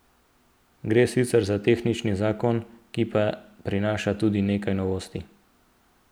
Gre sicer za tehnični zakon, ki pa prinaša tudi nekaj novosti.